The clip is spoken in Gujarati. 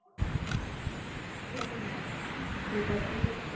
એટલે કે ના ન